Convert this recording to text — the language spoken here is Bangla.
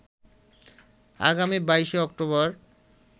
আগামী ২২শে অক্টোবর